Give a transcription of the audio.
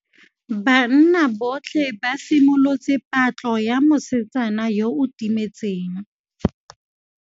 Banna botlhê ba simolotse patlô ya mosetsana yo o timetseng.